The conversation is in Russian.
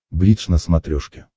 бридж на смотрешке